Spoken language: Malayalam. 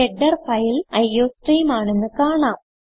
ഹെഡർ ഫയൽ അയോസ്ട്രീം ആണെന്ന് കാണാം